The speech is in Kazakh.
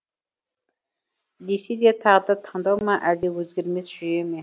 десе де тағдыр таңдау ма әлде өзгермес жүйе ме